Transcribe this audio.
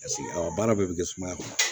baara bɛɛ bɛ kɛ sumaya kɔnɔ